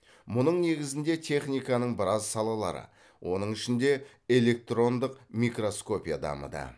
мұның негізінде техниканың біраз салалары оның ішінде электрондық микроскопия дамыды